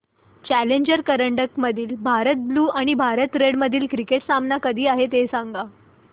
challenger करंडक मधील Bharat blue आणि भारत रेड मधील क्रिकेट सामना कधी आहे ते सांगा